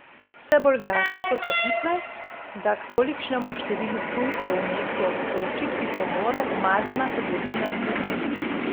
Vse bolj glasne so trditve, da k tolikšnemu številu tujcev v mestu ob Soči pripomore umazana trgovina z ljudmi.